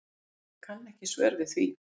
Ég kann ekki svör við því.